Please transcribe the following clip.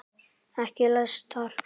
Ekki læstar.